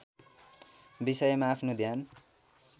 विषयमा आफ्नो ध्यान